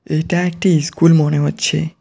এইটা একটি ইস্কুল মনে হচ্ছে।